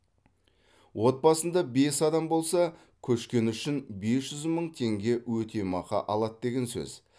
отбасында бес адам болса көшкені үшін бес жүз мың теңге өтемақы алады деген сөз